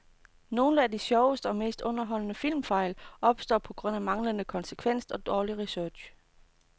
Nogle af de sjoveste og mest underholdende filmfejl opstår på grund af manglende konsekvens og dårlig research.